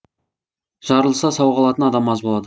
жарылса сау қалатын адам аз болады